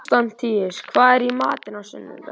Konstantínus, hvað er í matinn á sunnudaginn?